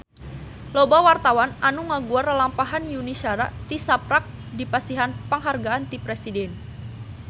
Loba wartawan anu ngaguar lalampahan Yuni Shara tisaprak dipasihan panghargaan ti Presiden